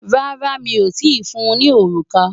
Rárá, mi o tíì fun ní òrùka.